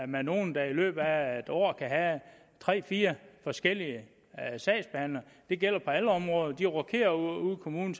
med nogle der i løbet af et år kan have tre fire forskellige sagsbehandlere det gælder på alle områder de rokerer ude i kommunen